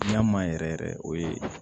Ɲa maa yɛrɛ yɛrɛ o ye